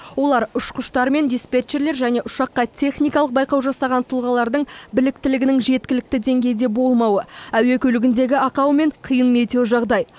олар ұшқыштар мен диспетчерлер және ұшаққа техникалық байқау жасаған тұлғалардың біліктілігінің жеткілікті деңгейде болмауы әуе көлігіндегі ақау немесе қиын метеожағдай